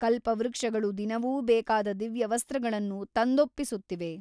ಕಲ್ಪವೃಕ್ಷಗಳು ದಿನವೂ ಬೇಕಾದ ದಿವ್ಯವಸ್ತ್ರಗಳನ್ನು ತಂದೊಪ್ಪಿಸುತ್ತಿವೆ.